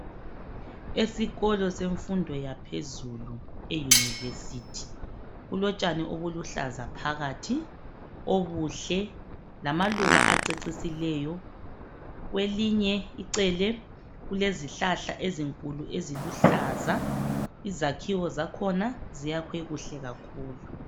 Esikolo semfundo yaphezulu eyunivesithi kulotshani obuluhlaza phakathi obuhle lamaluba acecisileyo kwelinye icele kulezihlahla ezinkulu eziluhlaza izakhiwo zakhona ziyakhiwe kuhle kakhulu.